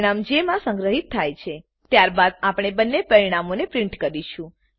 પરિણામ જે માં સંગ્રહીત થાય છે ત્યારબાદ આપણે બંને પરિણામોને પ્રીંટ કરીશું